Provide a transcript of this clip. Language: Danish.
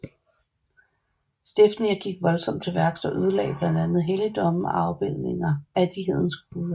Stefnir gik voldsomt til værks og ødelagde blandt andet helligdomme og afbildninger af de hedenske guder